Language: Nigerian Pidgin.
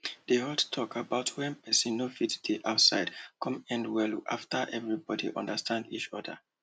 di hot talk about when person no fit dey outside come end well after everybody understand each other